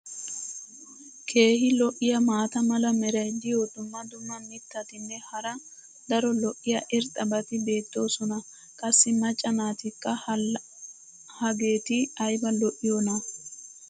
keehi lo'iya maata mala meray diyo dumma dumma mitatinne hara daro lo'iya irxxabati beetoosona. qassi macca naatikka laa hageeti ayba lo'iyoonaa?